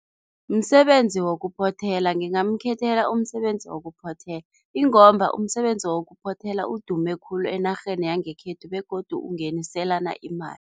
Msebenzi wokuphothela, ngingamkhethela umsebenzi wokuphothela ingomba umsebenzi wokuphothela udume khulu enarheni yangekhethu begodu ungeniselana imali.